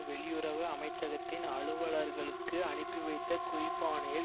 வெளியுறவு அமைச்சகத்தின் அலுவலர்களுக்கு அனுப்பி வைத்த குறிப்பாணையில்